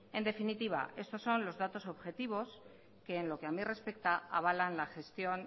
en definitiva estos son los datos objetivos que en lo que a mí respecta avalan la gestión